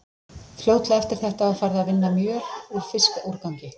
Fljótlega eftir þetta var farið að vinna mjöl úr fiskúrgangi.